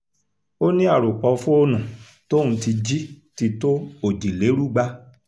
ó ní àròpọ̀ fóònù tóun ti jí ti tó òjìlérúgba